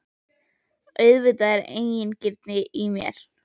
Auðvitað er þetta eigingirni í mér.